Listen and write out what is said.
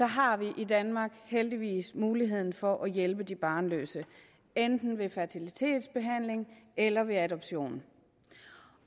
har vi i danmark heldigvis muligheden for at hjælpe de barnløse enten ved fertilitetsbehandling eller ved adoption